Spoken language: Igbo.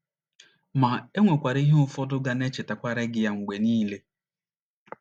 Ma, e nwekwara ihe ụfọdụ ga na - echetara gị ya mgbe niile.